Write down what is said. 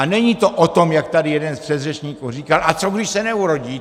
A není to o tom, jak tady jeden z předřečníků říkal - a co když se neurodí?